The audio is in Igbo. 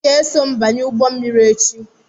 Ị ga-eso m banye ụgbọ mmiri echi!